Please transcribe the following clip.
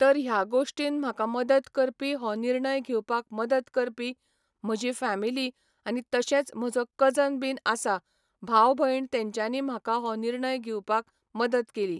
तर ह्या गोश्टीन म्हाका मदत करपी हो निर्णय घेवपाक मदत करपी म्हजी फेमिली आनी तशेंच म्हजो कजन बीन आसा भाव भयण तेंच्यानी म्हाका हो निर्णय घेवपाक मदत केली